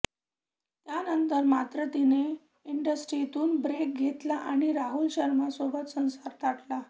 त्यानंतर मात्र तिने इंडस्ट्रीतून ब्रेक घेतला आणि राहुल शर्मासोबत संसार थाटला